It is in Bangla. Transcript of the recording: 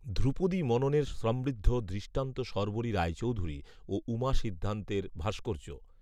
ধ্রুপদী মননের সমৃদ্ধ দৃষ্টান্ত শর্বরী রায়চৌধুরী ও উমা সিদ্ধান্তের ভাস্কর্য